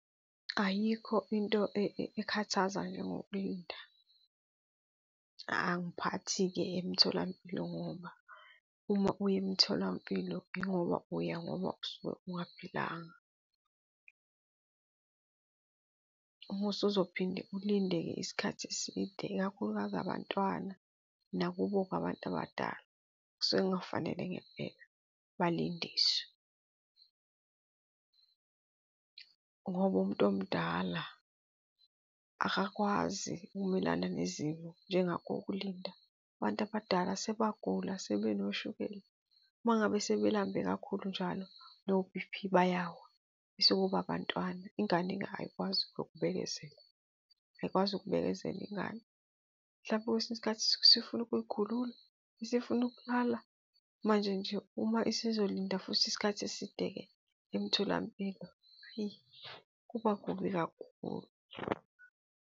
Ayikho into ekhathaza njengokulinda. Angiphathi-ke emtholampilo ngoba uma uya emtholampilo yingoba uya ngoba usuke ungaphilanga. Uma usuzophinde ulinde-ke isikhathi eside, ikakhulukazi abantwana nakubo-ke abantu abadala, kusuke kungafanele ngempela balindiswe, ngoba umuntu omdala akakwazi ukumelana nezimo njengako ukulinda. Abantu abadala sebagula, sebenoshukela. Uma ngabe sebelambe kakhulu njalo no-B_P bayawa. Bese kuba abantwana, ingane-ke ayikwazi nokubekezela, ayikwazi ukubekezelela ingane, mhlawumbe kwesinye isikhathi isifuna ukuy'khulula, isifuna ukulala. Manje nje uma isizolinda futhi isikhathi eside-ke emtholampilo, eyi kuba kubi kakhulu.